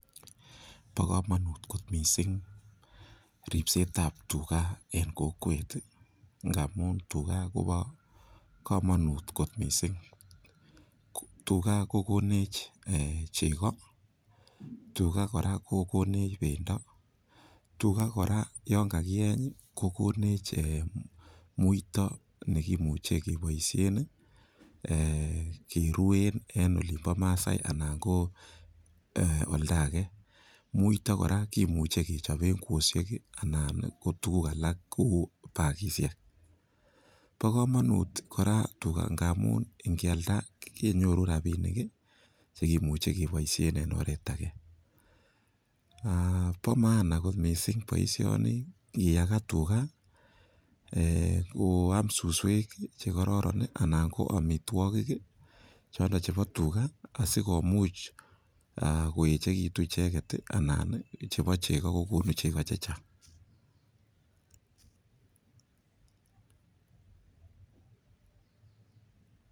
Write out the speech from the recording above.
Bo komonut kot mising ripset ab tuga en kokwet ngamun tuga kobo komonut kot mising. Tuga kogonech chego, tuga kora kogonech bendo, tuga kora yon kagiyeny ko konech muito ne kimuche keboishen kerwen en olinbo Maasai anan ko oldo age. Muito kora kimuche kechoben kweoisiek anan ko tuguk alak kou bagishek bo komonut kora tuga amun ingealda kenyoru rabinik che kimuche keboishen en oret age. Bo maana kot mising boisioni amun ingiyaga tuga ko am suswek che kororon anan ko amitwogik chondo chebo tuga asikomuch koechegitun icheget, anan chebo chego kogonu chego chechang.